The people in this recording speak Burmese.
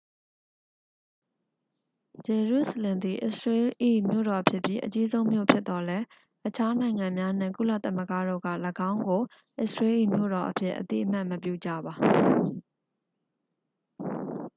ဂျေရုစလင်သည် အစ္စရေးလ်၏ မြို့တော်ဖြစ်ပြီး အကြီးဆုံး မြို့ဖြစ်သော်လည်း အခြား နိုင်ငံများနှင့် ကုလသမဂ္ဂတို့က ၎င်းကို အစ္စရေးလ်၏ မြို့တော်အဖြစ် အသိအမှတ်မပြုကြပါ